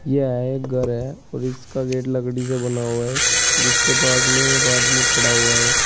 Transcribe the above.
यह एक घर है और इसका गेट लकड़ी से बना हुआ है जिसके पास में एक आदमी खड़ा हुआ है।